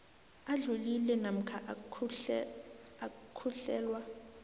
adlulile namkha ukuhlelwa